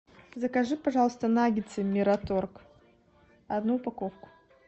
закажи пожалуйста наггетсы мираторг одну упаковку